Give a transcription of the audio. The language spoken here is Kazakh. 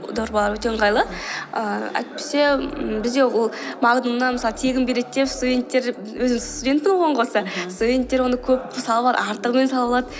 дорбалар өте ыңғайлы ііі әйтпесе ммм бізде ол магнумнан мысалы тегін береді деп студенттер өзім студентпін ғой оған қоса мхм студенттер оны көп салып алады артығымен салып алады